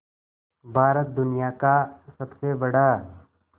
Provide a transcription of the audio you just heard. भारत दुनिया का सबसे बड़ा